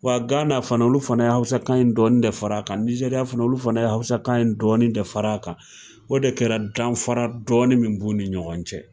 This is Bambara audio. Wa Gana fana olu fana ye hawusakan in dɔɔni de far'a kan, nizɛriya fana olu fana ye hawusakan in dɔɔni de far'a kan o de kɛra danfara dɔɔni min b'u ni ɲɔgɔn cɛ.